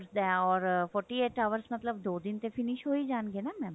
ਦਾ ਓਰ forty eight ਮਤਲਬ ਦੋ ਦਿਨ ਤੇ ਫਿਨਿਸ਼ ਹੋ ਹੀ ਜਾਣਗੇ ਨਾ mam